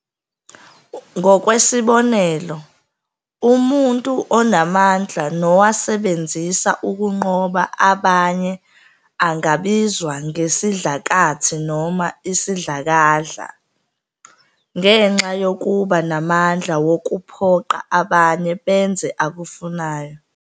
Ngokwesibonelo, umuntu onamandla nowasebenzisa ukunqoba abanye angabizwa ngesidlakathi noma isidlakadla, ngenxa yokuba namandla wokuphoqa abanye benze akufunayo.